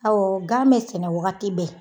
Awɔ gan be sɛnɛ wagati bɛɛ